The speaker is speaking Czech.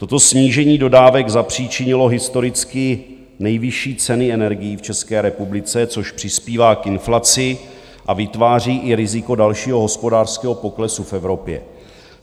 Toto snížení dodávek zapříčinilo historicky nejvyšší ceny energií v České republice, což přispívá k inflaci a vytváří i riziko dalšího hospodářského poklesu v Evropě.